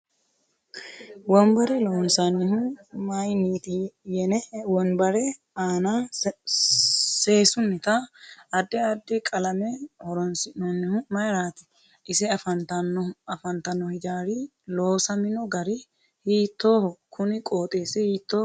Wonbare loonsanihu mayiiniiti yenne wonbare aana seesunita addi addi qalame horoonsinoonihu mayiirati ise afantano hijaari loosamino gari hiitooho kuni qooxeesi hiitooho